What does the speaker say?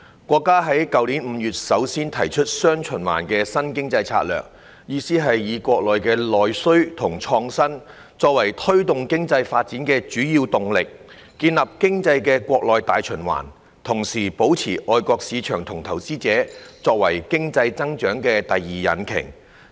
國家在去年5月首次提出"雙循環"新經濟策略，意思是以國內內需及創新，作為推動經濟發展的主要動力，建立經濟的國內大循環，同時保留外國市場和投資者作為經濟增長的第二引擎。